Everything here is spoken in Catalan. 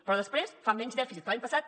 però després fa menys dèficit que l’any passat